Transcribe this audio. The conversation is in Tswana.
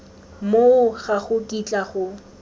moo ga go kitla go